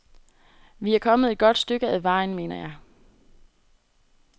Vi er kommet et godt stykke ad vejen, mener jeg.